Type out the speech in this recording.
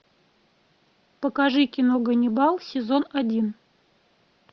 покажи кино ганнибал сезон один